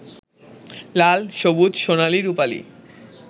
লাল, সবুজ, সোনালি, রুপালি